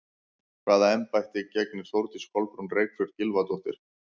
Hvaða embætti gegnir Þórdís Kolbrún Reykfjörð Gylfadóttir?